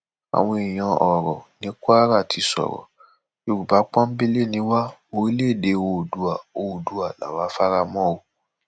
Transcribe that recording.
àwọn èèyàn ọrọ ní kwara ti sọrọ yorùbá pọńbélé nì wá orílẹèdè oòdua oòdua la fara mọ o